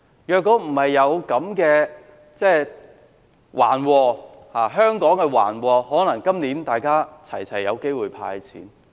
如果香港沒有遭逢這場橫禍，可能人人都有機會獲"派錢"。